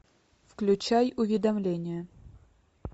включай уведомление